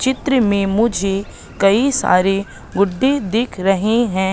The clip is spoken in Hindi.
चित्र में मुझे कई सारे गुड्डे दिख रहे है।